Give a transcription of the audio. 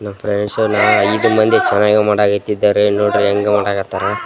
No friends so ಈಗ ನಂದು ಚೆನ್ನಾಗಿ ಮುಂಡ ಎತ್ತಿದ್ದಾರೆ ನೋಡ್ರಿ ಹೆಂಗ ಮಾಡಕತ್ತಾರ .